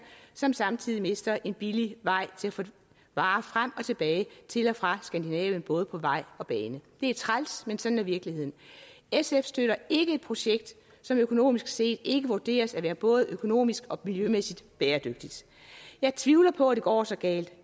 som samtidig mister en billig vej til at få varer frem og tilbage til og fra skandinavien både på vej og bane det er træls men sådan er virkeligheden sf støtter ikke et projekt som økonomisk set ikke vurderes at være både økonomisk og miljømæssigt bæredygtigt jeg tvivler på at det går så galt